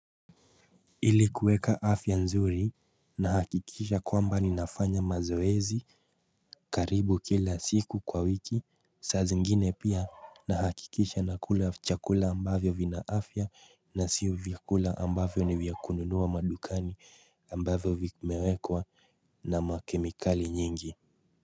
Ili kuweka afya nzuri na hakikisha kwamba ni nafanya mazoezi karibu kila siku kwa wiki saa zengine pia nahakikisha na kula chakula ambavyo vina afya na siu vyakula ambavyo ni vya kununuwa madukani ambavyo vimewekwa na makemikali nyengi.